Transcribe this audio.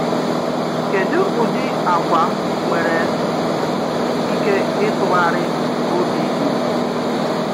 Kèdù ụdị àgwà nwèrè íké ìtụ̀ghárí òbì di?